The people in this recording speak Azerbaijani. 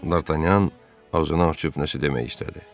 Dartanyan ağzını açıb nəsə demək istədi.